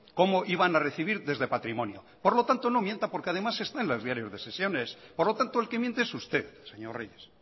cómo iban a recibir desde patrimonio por lo tanto no mienta porque además está en los diarios de sesiones por lo tanto el que miente es usted señor reyes